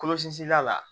Kɔlɔsi la